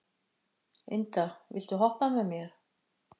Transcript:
Inda, viltu hoppa með mér?